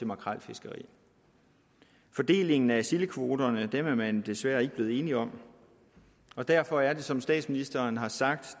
makrelfiskeriet fordelingen af sildekvoterne er man desværre ikke blevet enige om og derfor er det som statsministeren har sagt